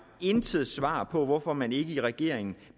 intet svar på hvorfor man i regeringen